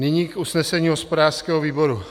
Nyní k usnesení hospodářského výboru.